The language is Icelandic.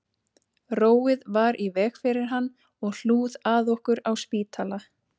Róið var í veg fyrir hann og hlúð að okkur á spítala